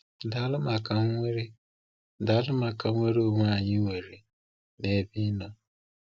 Daalụ maka nnwere Daalụ maka nnwere onwe anyị nwere n’ebe Ị nọ.